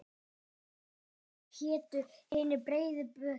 Áður hétu hinir breiðu bökin.